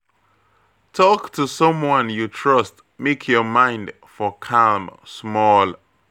Talk to someone you trust make your mind for calm small.